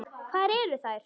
Hvar eru þær?